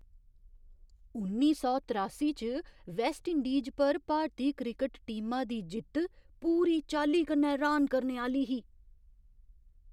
उन्नी सौ त्रासी च वैस्टइंडीज पर भारती क्रिकट टीमा दी जित्त पूरी चाल्ली कन्नै र्हान करने आह्‌ली ही!